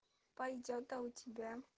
пойдёт а у тебя